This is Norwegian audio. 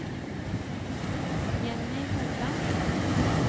Jenny Hovland